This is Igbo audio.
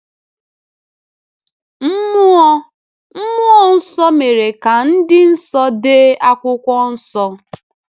Mmụọ Mmụọ Nsọ mere ka ndị nsọ dee akwụkwọ nsọ.